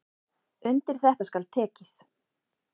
Undir þetta skal tekið.